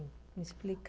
Me explica.